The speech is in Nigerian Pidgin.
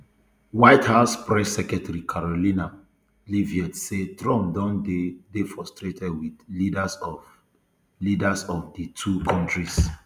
white house press secretary karoline leavitt say trump don dey dey frustrated wit leaders of leaders of di two kontris